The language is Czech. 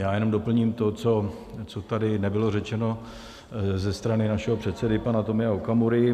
Já jenom doplním to, co tady nebylo řečeno ze strany našeho předsedy, pana Tomio Okamury.